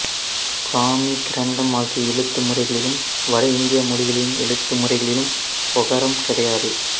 பிராமி கிரந்தம் ஆகிய எழுத்து முறைகளிலும் வட இந்திய மொழிகளின் எழுத்து முறைகளிலும் ஒகரம் கிடையாது